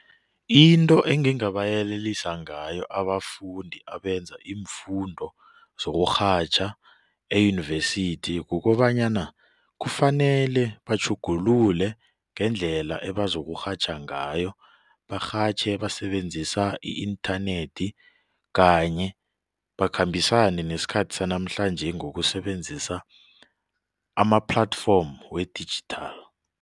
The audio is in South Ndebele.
Into engingabayelelisa ngayo abafundi abenza iimfundo zokurhatjha eyunivesithi kukobanyana kufanele batjhugulule ngendlela ebazokurhatjha ngayo barhatjhe basebenzisa i-inthanethi kanye bakhambisane nesikhathi sanamhlanje ngokusebenzisa ama-platform we-digital.